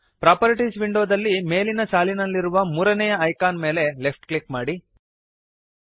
properties ವಿಂಡೋದಲ್ಲಿ ಮೇಲಿನ ಸಾಲಿನಲ್ಲಿರುವ ಮೂರನೆಯ ಐಕಾನ್ ಮೇಲೆ ಲೆಫ್ಟ್ ಕ್ಲಿಕ್ ಮಾಡಿರಿ